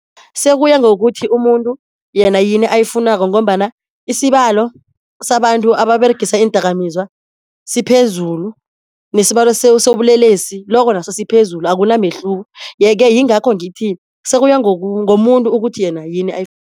Sekuya ngokuthi umuntu yena yini ayifunako ngombana isibalo sabantu ababeregisa iindakamizwa siphezulu, nesibalo sobulelesi loko naso siphezulu akunamehluko. Ye-ke yingakho ngithi sekuya ngomuntu ukuthi yena yini